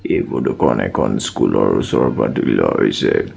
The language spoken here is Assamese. এই ফটোখন এখন স্কুলৰ ওচৰৰ পৰা তুলি লোৱা হৈছে।